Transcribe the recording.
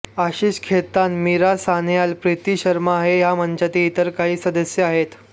आशिष खेतान मीरा सान्याल प्रीती शर्मा हे या मंचाचे इतर काही सदस्य आहेत